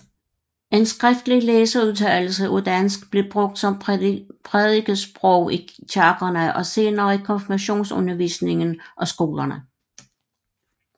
En skriftret læseudtale af dansk blev brugt som prædikesprog i kirkerne og senere i konfirmationsundervisningen og skolerne